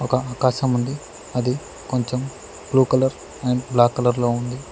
ఒక ఆకాశముంది అది కొంచెం blue colour and black colour లో ఉంది.